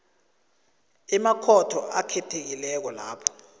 emakhotho akhethekileko lapho